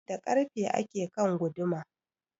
Da karfe ake kan guduma